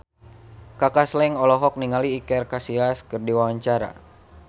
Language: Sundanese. Kaka Slank olohok ningali Iker Casillas keur diwawancara